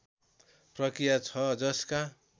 प्रक्रिया छ जसका